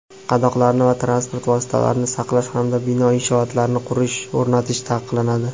qadoqlarni va transport vositalarini saqlash hamda bino inshootlarni qurish (o‘rnatish) taqiqlanadi.